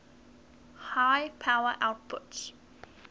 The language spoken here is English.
high power outputs